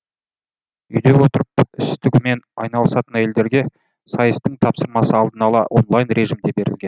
үйде отырып іс тігумен айналысатын әйелдерге сайыстың тапсырмасы алдын ала онлайн режимде берілген